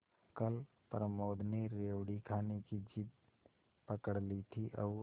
कल प्रमोद ने रेवड़ी खाने की जिद पकड ली थी और